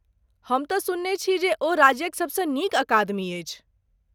हम तँ सुनने छी जे ओ राज्यक सबसँ नीक अकादमी अछि?